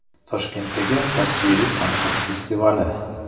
Toshkentdagi tasviriy san’at festivali.